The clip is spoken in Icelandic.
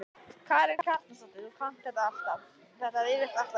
Karen Kjartansdóttir: Þú kannt þetta alltaf, þetta rifjast alltaf upp?